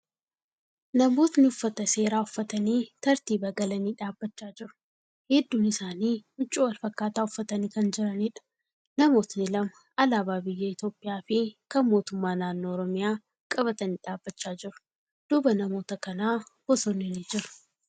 Namootni uffata seeraa uffatanii tartiiba galanii dhaabbachaa jiru. Hedduun isaanii huccuu wal fakkaataa uffatanii kan jiraniidha. Namootni lama alaabaa biyya Itiyoophiyyaa fi kan mootummaa naannoo Oromiyyaa qabatanii dhaabbachaa jiru. Duuba namoota kanaa bosonni ni jira.